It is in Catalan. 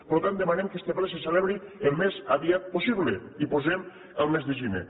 per tant demanem que este ple se celebri el més aviat possible i posem el mes de gener